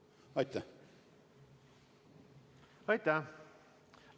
Aitäh!